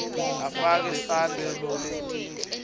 afake sandla kuletindleko